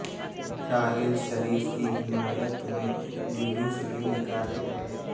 راحیل شریف کی حمایت میں جلوس بھی نکالے گئے